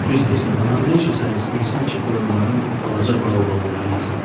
Düz deyirsən, amma nə üçün sən istəyirsən ki, qoyunların balaca baobabları yesin?